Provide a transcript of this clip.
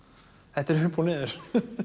þetta er upp og niður